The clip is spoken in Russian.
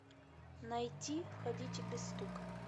найти входите без стука